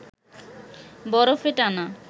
বরফে টানা